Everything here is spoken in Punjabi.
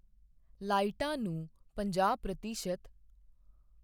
ਲਾਈਟਾਂ ਨੂੰ ਪੰਜਾਹ ਪ੍ਰਤੀਸ਼ਤ